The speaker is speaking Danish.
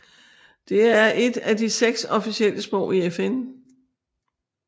Det er et af de seks officielle sprog i FN